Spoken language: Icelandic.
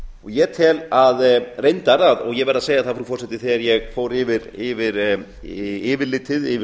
ég tel reyndar og verð að segja það frú forseti þegar ég fór yfir yfirlitið yfir